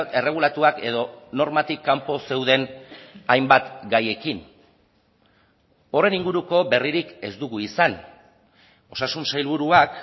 erregulatuak edo normatik kanpo zeuden hainbat gaiekin horren inguruko berririk ez dugu izan osasun sailburuak